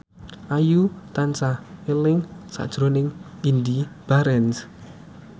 Ayu tansah eling sakjroning Indy Barens